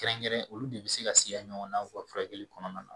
Kɛrɛnkɛrɛn olu de bi se ka siyan ɲɔgɔnna u ka furakɛli kɔnɔna na